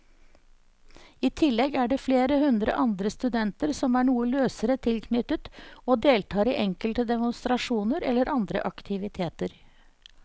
I tillegg er det flere hundre andre studenter som er noe løsere tilknyttet og deltar i enkelte demonstrasjoner eller andre aktiviteter.